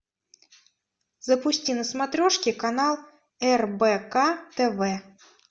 запусти на смотрешке канал рбк тв